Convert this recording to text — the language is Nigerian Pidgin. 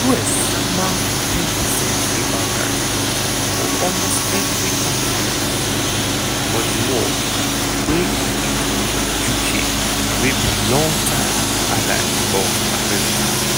us sama ten percent global tariff for almost evri kontri um for di world wey include um uk wey be long-time ally of america.